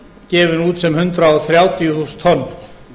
gefinn út sem hundrað þrjátíu þúsund tonn